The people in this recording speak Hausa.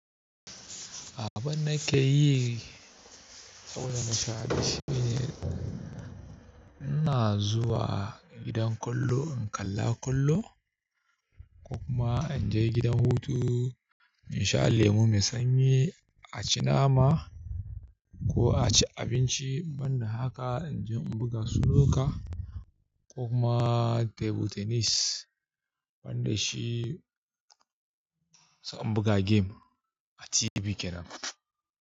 Abin da ke yi saboda nasha rashi shine ina zuwa gidan ƙwallo in kalla ƙwallo ko kuma in je gidan hutu in sha lemu, mai sanyi a ci nama ko a ci abinci. Ban da haka in je in buga snooker ko kuma table tennis. Ban da shi sai buga game a TV kenan.